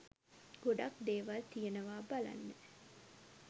ගොඩක් දේවල් තියනවා බලන්න